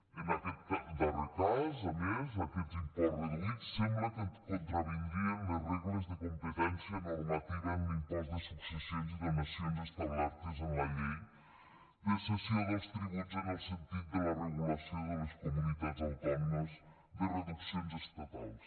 en aquest darrer cas a més aquests imports reduïts sembla que contravindrien les regles de competència normativa en l’impost de successions i donacions establertes en la llei de cessió dels tributs en el sentit de la regulació de les comunitats autònomes de reduccions estatals